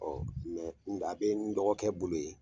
Ɔɔ nga a be n dɔgɔkɛ bolo yen